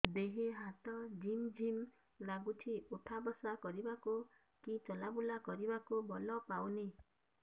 ଦେହେ ହାତ ଝିମ୍ ଝିମ୍ ଲାଗୁଚି ଉଠା ବସା କରିବାକୁ କି ଚଲା ବୁଲା କରିବାକୁ ବଳ ପାଉନି